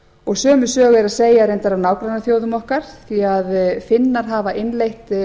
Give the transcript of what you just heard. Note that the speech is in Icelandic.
og sömu sögu er að segja af nágrannaþjóðum okkar því finnar hafa innleitt